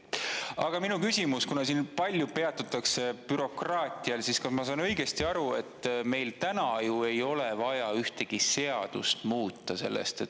Aga minu küsimus, kuna siin palju peatutakse bürokraatial, siis kas ma saan õigesti aru, et meil ei ole ju vaja ühtegi seadust muuta selleks.